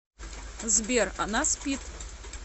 сбер она спит